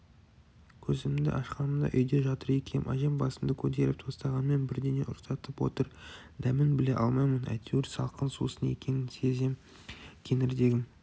көзімді ашқанымда үйде жатыр екем әжем басымды көтеріп тостағанмен бірдеңе ұрттатып отыр дәмін біле алмаймын әйтеуір салқын сусын екенін сезем кеңірдегім